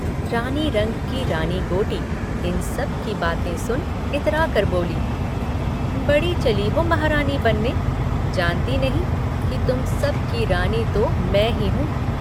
रानी रंग की रानी गोटी इन सबकी बातें सुन इतराकर बोली, बड़ी चली हो महारानी बनने जानती नहीं कि तुम सब की रानी तो मैं ही हूँ।